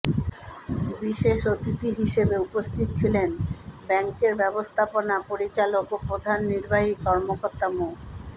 বিশেষ অতিথি হিসেবে উপস্থিত ছিলেন ব্যাংকের ব্যবস্থাপনা পরিচালক ও প্রধান নির্বাহী কর্মকর্তা মো